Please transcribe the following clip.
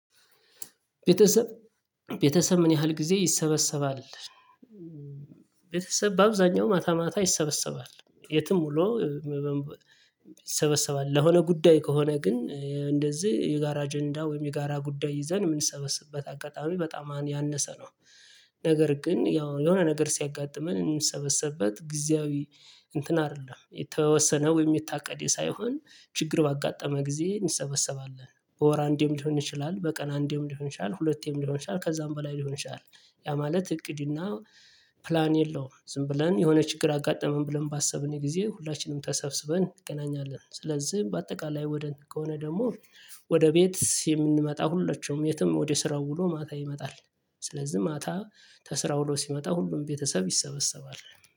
ቤተሰብ ቤተሰብ ምን ያህል ጊዜ ይሰበሰባል? ቤተሰብ በአብዛኛው ማታ ማታ ይሰበሰባል የትም ሆኖ ይሰበሰባል ለሆነ ጉዳይ ከሆነ ግን እንደዚህ የጋራ አጀንዳ ወይም የጋራ ጉዳይ ይዘን የምንሰበስበት አጋጣሚ በጣም ያነሰ ነው። ነገር ግን ያው የሆነ ነገር ሲያጋጥመን የምንሰበሰብት ጊዜያዊ እንትን አይደለም የተወሰነ ወይም የታቀደ ሳይሆን ችግር ባጋጠመ ጊዜ እንሰበሰባለን በወር አንዴም ሊሆን ይችላል በቀን አንዴም ሊሆን ይችላል ሁለቴም ሊሆን ይችላል ከዛም በላይ ሊሆን ይችላል። ያ ማለት እቅድ እና ፕላን የለውም ዝም ብለን የሆነ ችግር አጋጠመን ብለን ባሰብን የጊዜ ሁላችንም ተሰብስበን እንገናኛለን። ስለዚህ በአጠቃላይ ወደ ከሆነ ደግሞ ወደ ቤት የምንመጣ ሁላችንም የትም ወደ ስራው ውሎ ማታ ይመጣል። ስለዚህ ማታ ከስራ ለው ሲመጣ ሁሉም ቤተሰብ ይሰበሰባል